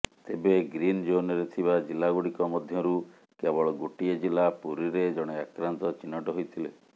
ତେବେ ଗ୍ରୀନ ଜୋନରେ ଥିବା ଜିଲ୍ଲାଗୁଡ଼ିକ ମଧ୍ୟରୁ କେବଳ ଗୋଟିଏ ଜିଲ୍ଲା ପୁରୀରେ ଜଣେ ଆକ୍ରାନ୍ତ ଚିହ୍ନଟ ହୋଇଥିଲେ